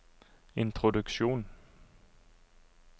introduksjon